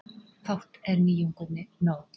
Fátt er nýjunginni nóg.